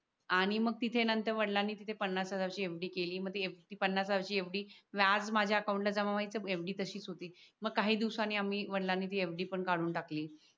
आणि मग तिथे नंतर वडिलांनी तिथे पन्नास हजाराची fd केली मध्ये ती पणास हजाराची fd व्याज माझ्या अकाउंटला जमा व्हायचं fd तशीच होती मग काही दिवसांनी आम्ही वडिलांनी fd पण काढून टाकली